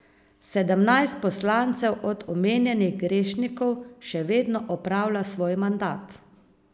Sedemnajst poslancev od omenjenih grešnikov še vedno opravlja svoj mandat.